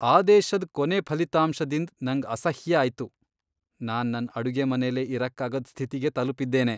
ಆದೇಶದ್ ಕೊನೆ ಫಲಿತಾಂಶದಿಂದ್ ನಂಗ್ ಅಸಹ್ಯ ಆಯ್ತು. ನಾನ್ ನನ್ ಅಡುಗೆಮನೆಲೆ ಇರಕ್ಕಾಗದ್ ಸ್ಥಿತಿಗೆ ತಲಪಿದ್ದೇನೆ.